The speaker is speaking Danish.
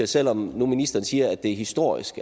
selv om ministeren nu siger at det er historisk